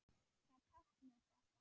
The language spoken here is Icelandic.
Hvað táknar þetta?